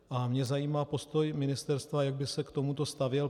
A mě zajímá postoj ministerstva, jak by se k tomuto stavělo.